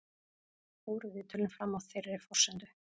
Fóru viðtölin fram á þeirri forsendu